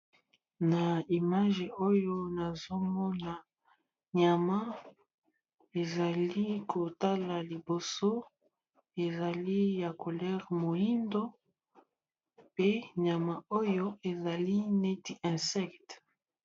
Na image oyo nazomona nyama ezali kotala liboso ezali ya colere mohindo pe nyama oyo ezali neti insecte.